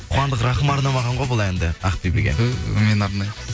қуандық рахым арнамаған ғой бұл әнді ақбибіге ту мен арнаймын